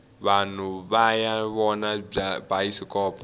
vanhu vaya vona bayisikopo